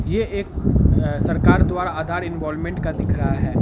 ये एक सरकार द्व्ररा आधार इन्वॉलमेंट का दिख रहा है।